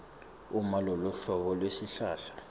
uma loluhlobo lwesihlahla